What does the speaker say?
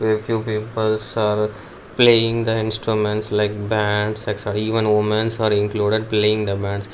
a few peoples are playing the instruments like bands sexo even womens are included playing the bands.